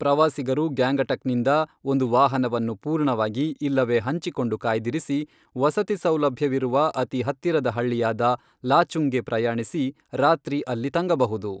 ಪ್ರವಾಸಿಗರು ಗ್ಯಾಂಗಟಕ್ನಿಂದ ಒಂದು ವಾಹನವನ್ನು ಪೂರ್ಣವಾಗಿ ಇಲ್ಲವೇ ಹಂಚಿಕೊಂಡು ಕಾಯ್ದಿರಿಸಿ, ವಸತಿ ಸೌಲಭ್ಯವಿರುವ ಅತಿ ಹತ್ತಿರದ ಹಳ್ಳಿಯಾದ ಲಾಚುಂಗ್ಗೆ ಪ್ರಯಾಣಿಸಿ ರಾತ್ರಿ ಅಲ್ಲಿ ತಂಗಬಹುದು.